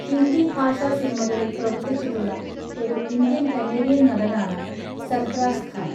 ഹിന്ദി ഭാഷാ സിനിമകാളിൽ പ്രവർത്തിച്ചിട്ടുള്ള ഒരു ഇന്ത്യൻ കനേഡിയൻ നടനാണ് സർഫറാസ് ഖാൻ.